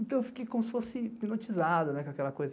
Então eu fiquei como se fosse hipnotizado com aquela coisa.